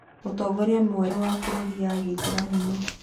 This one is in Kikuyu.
Mũtongoria mwerũ wa Bũrũri ya Gĩithĩramu nũũ?